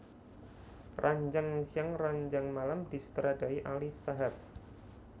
Ranjang Siang Ranjang Malam disutradarai Ali Shahab